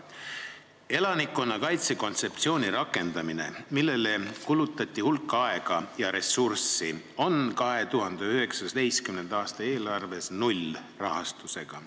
Elanikkonnakaitse kontseptsiooni rakendamine, millele on kulutatud hulk aega ja ressurssi, on 2019. aasta eelarves nullrahastusega.